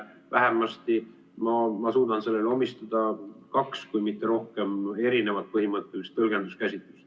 Vähemasti ma suudan sellele omistada kaks, kui mitte rohkem, erinevat põhimõttelist tõlgenduskäsitlust.